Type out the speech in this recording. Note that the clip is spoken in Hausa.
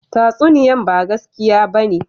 Tatsuniyan ba gaskiya ba ne?